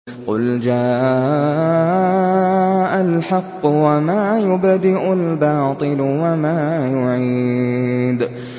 قُلْ جَاءَ الْحَقُّ وَمَا يُبْدِئُ الْبَاطِلُ وَمَا يُعِيدُ